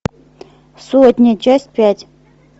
сотня часть пять